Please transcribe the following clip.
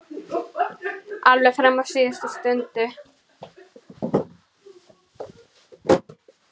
Alveg fram á síðustu stundu.